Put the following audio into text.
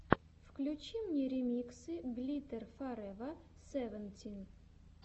включи мне ремиксы глиттер форева севентин